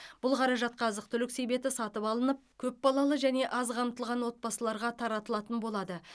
бұл қаражатқа азық түлік себеті сатып алынып көпбалалы және аз қамтылған отбасыларға таратылатын болады